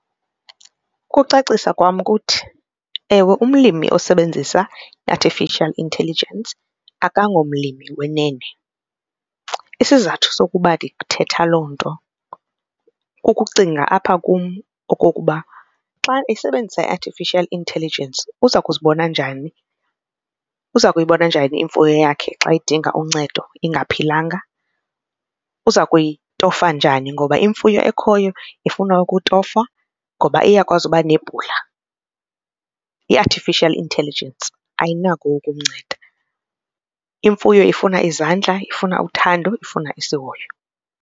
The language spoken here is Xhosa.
Ukucacisa kwam kuthi, ewe umlimi osebenzisa i-artificial intelligence akangomlimi wenene. Isizathu sokuba ndithethe loo nto kukucinga apha kum okokuba xa esebenzisa i-artificial intelligence uza kuzibona njani, uza kuyibona njani imfuyo yakhe xa edinga uncedo ingaphilanga, uza kuyitofa njani ngoba imfuyo ekhoyo ifuna ukutofwa ngoba iyakwazi uba nebhula i-artificial intelligence ayinako ukumnceda imfuyo ifuna izandla ifuna uthando ifuna isihoyo.